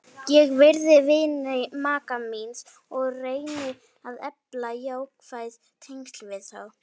Ég virði vini maka míns og reyni að efla jákvæð tengsl við þá.